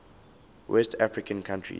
west african countries